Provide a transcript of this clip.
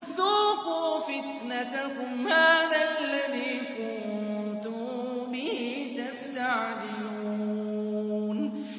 ذُوقُوا فِتْنَتَكُمْ هَٰذَا الَّذِي كُنتُم بِهِ تَسْتَعْجِلُونَ